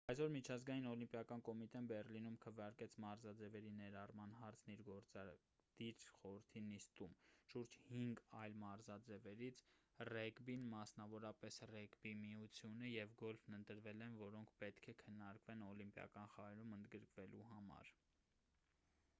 այսօր միջազգային օլիմպիական կոմիտեն բեռլինում քվեարկեց մարզաձևերի ներառման հարցն իր գործադիր խորհրդի նիստում շուրջ հինգ այլ մարզաձևերից ռեգբին մասնավորապես ռեգբիի միությունը և գոլֆն ընտրվել են որոնք պետք է քննարկվեն օլիմպիական խաղերում ընդգրկվելու համար